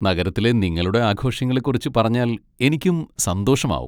നഗരത്തിലെ നിങ്ങളുടെ ആഘോഷങ്ങളെ കുറിച്ച് പറഞ്ഞാൽ എനിക്കും സന്തോഷമാവും.